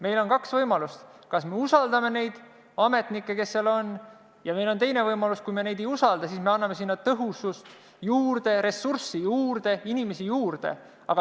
Meil on kaks võimalust: me kas usaldame neid ametnikke, kes seal on, või – meil on ka teine võimalus – kui me neid ei usalda, siis anname sinna tõhusust, ressurssi, inimesi juurde.